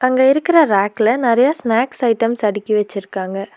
அங்க இருக்கற ரேக்ல நெறைய ஸ்நாக்ஸ் ஐட்டம்ஸ் அடிக்கி வச்சுருக்காங்க.